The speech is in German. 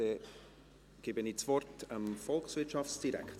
Dann gebe ich das Wort dem Volkswirtschaftsdirektor.